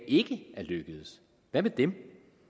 ikke er lykkedes hvad med dem